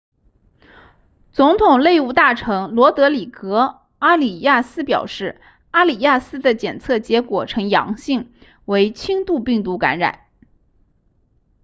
总统内务大臣罗德里戈阿里亚斯表示阿里亚斯的检测结果呈阳性为轻度病毒感染